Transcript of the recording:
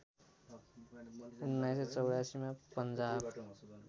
१९८४ मा पञ्जाब